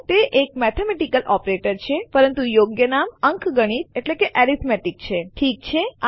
તે એક mathematical operator છે પરંતુ યોગ્ય નામ અંકગણિત એટલે કે એરિથમેટિક છે ઠીક છે